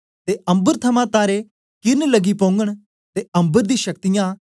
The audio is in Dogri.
ते अम्बर थमां तारे किरन लगी पौगन ते अम्बर दी शक्तियाँ